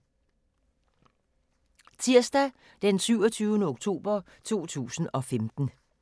Tirsdag d. 27. oktober 2015